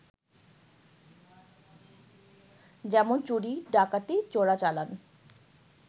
যেমন চুরি, ডাকাতি, চোরাচালান